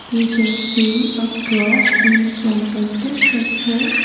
We can see a cross in front of the structure.